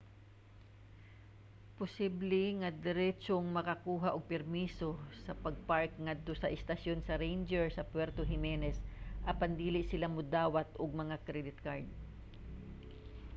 posible nga diretsong makakuha og permiso sa pag-park ngadto sa estasyon sa ranger sa puerto jimenez apan dili sila modawat og mga credit card